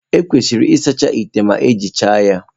Ekwesịrị ịsacha ite ma ejicha ya.